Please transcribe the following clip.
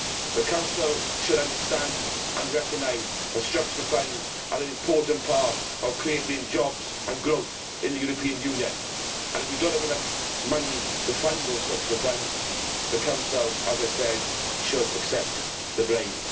The Council should understand and recognise that structural funds are an important part of creating jobs and growth in the European Union and if we do not have enough money to fund those structural funds, the Council, as I said, should accept the blame.